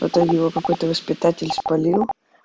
это его какой-то воспитатель поймал